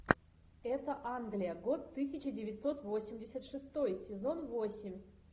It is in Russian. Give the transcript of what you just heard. это англия год тысяча девятьсот восемьдесят шестой сезон восемь